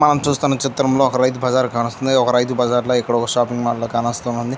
మనం చూస్తున్న చిత్రం లో ఒక రైతు బజార్ కానొస్తుంది ఇది ఒక రైతు బజార్ లో ఇక్కడ ఒక షాపింగ్ మాల్ లా కానోస్తు ఉంది.